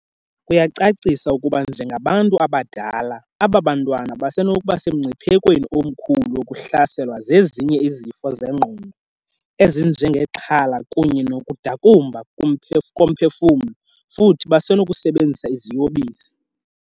Uyacacisa ukuba njengabantu abadala, aba bantwana basenokuba semngciphekweni omkhulu wokuhlaselwa zezinye izifo zengqondo, ezinjengexhala kunye nokudakumba komphefumlo, futhi basenokusebenzisa iziyobisi.